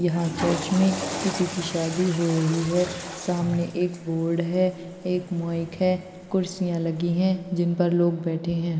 यहा चर्च मे किसी की शादी हो रही है। सामने एक बोर्ड है। एक माइक है । कुर्सिया लगी है जिन पर लोग बैठे है।